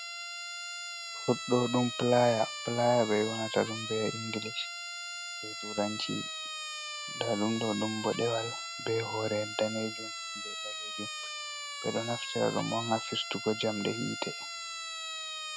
Ɗo ɗum playa, playa ɓe ƴoonata ɗum be inglish, be turanci. Nda ɗum ɗo dum mboɗewal, be hore daneejum be ɓaleejum. Ɓe ɗo naftira ɗum on ha fistugo jamɗe hite.